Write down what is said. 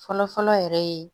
Fɔlɔ fɔlɔ yɛrɛ ye